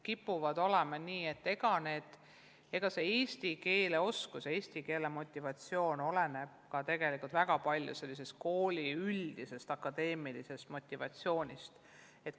Kipub olema nii, et eesti keele oskus ja eesti keele omandamise motivatsioon oleneb väga palju õpilase üldisest akadeemilisest motivatsioonist.